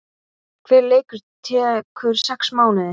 Hver leikur tekur sex mánuði